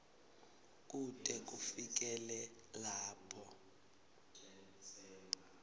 kute kufikele lapho